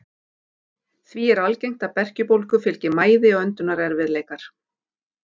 Því er algengt að berkjubólgu fylgi mæði og öndunarerfiðleikar.